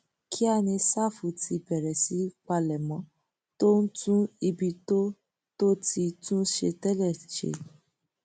kíá ni sáfù ti bẹrẹ sí í palẹmọ tó ń tún ibi tó tó ti tún ṣe tẹlẹ ṣe